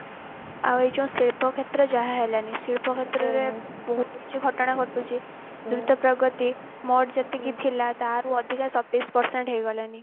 ଆଉ ଏ ଯୋଉ ଶିଳ୍ପ କ୍ଷେତ୍ର ଯାହା ହେଲାଣି ଶିଳ୍ପ କ୍ଷେତ୍ର ରେ ବହୁତ କିଛି ଘଟଣା ଘଟୁଛି ଦ୍ରୁତ ପ୍ରଗତି ମୋଟ ଯେତିକି ଥିଲା ତାଠୁ ଅଧିକା ସତେଇଶି percent ହେଇ ଗଲାଣି